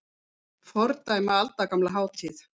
Fordæma aldagamla hátíð